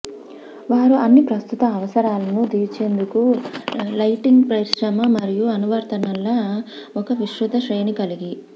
వారు అన్ని ప్రస్తుత అవసరాలను తీర్చేందుకు లైటింగ్ పరిశ్రమ మరియు అనువర్తనాల ఒక విస్తృత శ్రేణి కలిగి